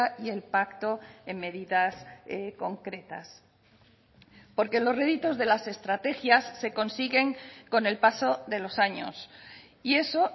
y el pacto en medidas concretas porque los réditos de las estrategias se consiguen con el paso de los años y eso